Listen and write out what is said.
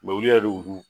Mɛ olu yɛrɛ de y'u